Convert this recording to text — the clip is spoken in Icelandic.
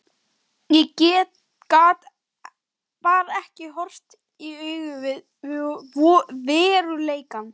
Ég gat bara ekki horfst í augu við veruleikann.